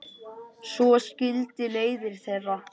Svo skildi leiðir þeirra.